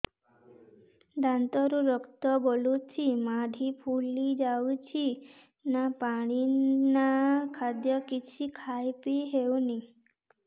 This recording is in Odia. ଦାନ୍ତ ରୁ ରକ୍ତ ଗଳୁଛି ମାଢି ଫୁଲି ଯାଉଛି ନା ପାଣି ନା ଖାଦ୍ୟ କିଛି ଖାଇ ପିଇ ହେଉନି